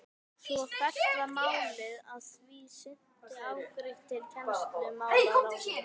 Svo fellt var málið að því sinni afgreitt til kennslumálaráðherra.